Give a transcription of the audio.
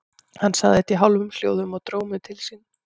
Hann sagði þetta í hálfum hljóðum og dró mig til sín.